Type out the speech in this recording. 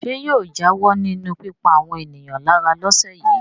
Ṣé yóò jáwọ́ nínú pípa àwọn ènìyàn lára lọ́sẹ̀ yìí?